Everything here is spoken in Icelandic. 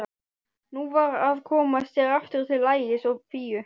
Nú var að koma sér aftur til Ægis og Fíu.